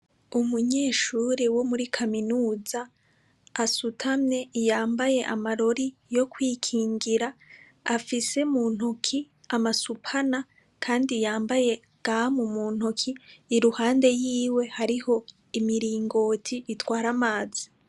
Umunyeshuri wo muri kaminuza asutame iyambaye amarori yo kwikingira afise mu ntoki amasupana, kandi yambaye gamu mu ntoki i ruhande yiwe hariho imiringoti itwara amazi.